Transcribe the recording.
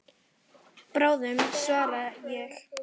Bráðum svaraði ég.